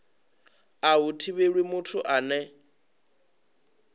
a hu thivheli muthu ane